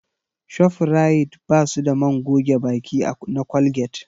Shofrayit ba su da man goge baki na Colgate